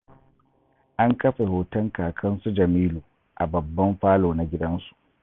An kafe hoton Kakan su Jamilu a babban falo na gidansu